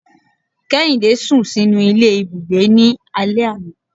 Kèhindé sún sinú ilé Ibúgbe ní alè aná